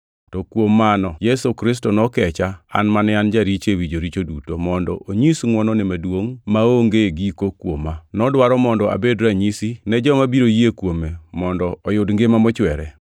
To kuom mano Yesu Kristo nokecha an mane an jaricho ewi joricho duto, mondo onyis ngʼwonone maduongʼ maonge giko kuoma. Nodwaro mondo abed ranyisi, ne joma biro yie kuome mondo oyud ngima mochwere.